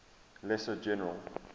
lesser general